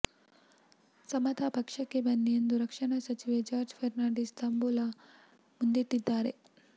ಸಮತಾ ಪಕ್ಷಕ್ಕೆ ಬನ್ನಿ ಎಂದು ರಕ್ಷಣಾ ಸಚಿವ ಜಾರ್ಜ್ ಫರ್ನಾಂಡಿಸ್ ತಾಂಬೂಲ ಮುಂದಿಟ್ಟಿದ್ದಾರೆ